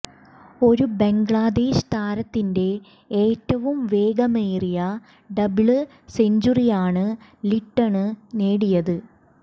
ഒരു ബംഗ്ലാദേശ് താരത്തിന്റെ ഏറ്റവും വേഗമേറിയ ഡബിള് സെഞ്ചുറിയാണ് ലിട്ടണ് നേടിയത്